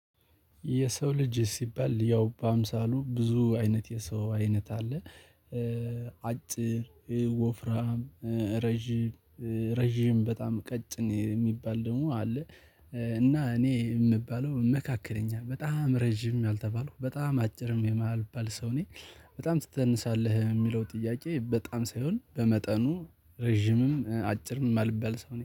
የሰው ልጅ ሲባል፣ ያው በአምሳሉ ብዙ አይነት የሰው አይነት አለ። ኤ አጭር፣ ኤ ወፍራም፣ ኤ ረጅም፣ ኤ ረጅም፣ በጣም ቀጭን የሚባል ደግሞ አለ። ኤ እና! እኔ የምባለው መካከለኛ፣ በጣም ረጅም አልተባለው፣ በጣም አጭርም የማልባል ሰው ነኝ። በጣም ትተንሳለህ የሚለው ጥያቄ፣ በጣም ሳይሆን፣ በመጠኑ ረጅምም፣ አጭር ማልበል ሰው ነኝ።